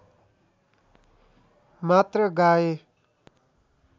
मात्र गाए